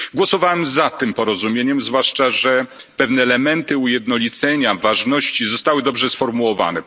Głosowałem za tym porozumieniem, zwłaszcza, że pewne elementy ujednolicenia, ważności zostały dobrze sformułowane.